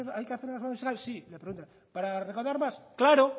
hay que hacer una reforma fiscal sí para recaudar más claro